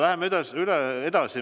Läheme edasi.